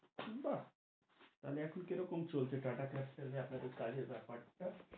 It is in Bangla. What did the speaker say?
বাহ, তাহলে এখন কি রকম চলছে টাটা ক্যাপিটালে আপনাদের কাজের ব্যাপার টা?